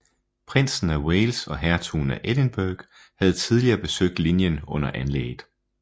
Prinsen af Wales og Hertugen af Edinburgh havde tidligere besøgt linjen under anlægget